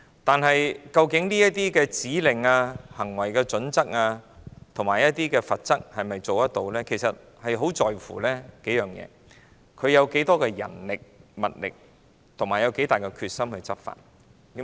但是，究竟該局制訂的指令、行為準則和罰則是否有效，很視乎該局投放多少人力、物力和有多大的決心執法。